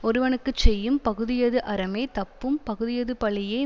ஒருவனுக்கு செய்யும் பகுதியது அறமே தப்பும் பகுதியது பழியே